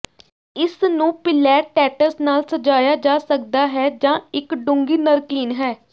ਇਸ ਨੂੰ ਪਿਲੈਟੈਟਸ ਨਾਲ ਸਜਾਇਆ ਜਾ ਸਕਦਾ ਹੈ ਜਾਂ ਇਕ ਡੂੰਘੀ ਨਰਕੀਨ ਹੈ